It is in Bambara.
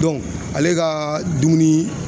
ale ka dumuni